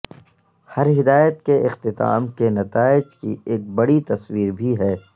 ہر ہدایت کے اختتام کے نتائج کی ایک بڑی تصویر بھی ہے